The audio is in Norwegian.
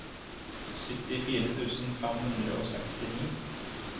syttifire tusen fem hundre og sekstini